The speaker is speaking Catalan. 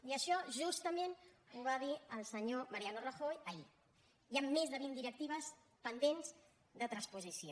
i això justament ho va dir el senyor mariano rajoy ahir hi han més de vint directives pendents de transposició